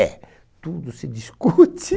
É. Tudo se discute.